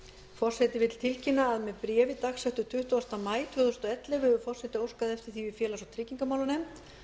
forseti vill tilkynna að með bréfi dagsettu tuttugasta maí tvö þúsund og ellefu hefur forseti óskað eftir því við félags og tryggingamálanefnd